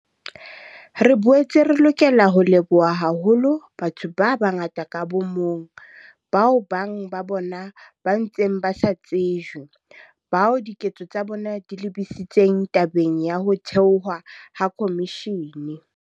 Re boetse re lokela ho leboha haholo batho ba bangata ka bo mong, bao bang ba bona ba ntseng ba sa tsejwe, bao diketso tsa bona di lebisitseng tabeng ya ho thehwa ha khomishene.